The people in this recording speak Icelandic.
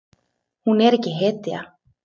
Hún er ekki hetja.